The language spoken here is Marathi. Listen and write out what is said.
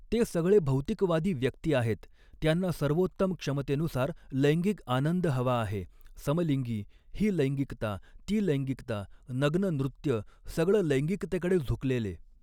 ते सगऴे भौतिकवादी व्यक्ती आहेत त्यांना सर्वोत्तम क्षमतेनुसार लैंगिक आनंद हवा आहे समलिंगी, ही लैंगिकता, ती लैंगिकता, नग्न नृत्य, सगऴं लैंगिकतेकडे झुकलेले.